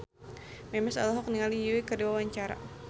Memes olohok ningali Yui keur diwawancara